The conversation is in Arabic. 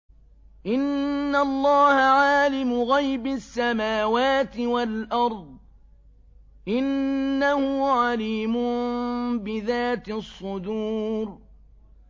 إِنَّ اللَّهَ عَالِمُ غَيْبِ السَّمَاوَاتِ وَالْأَرْضِ ۚ إِنَّهُ عَلِيمٌ بِذَاتِ الصُّدُورِ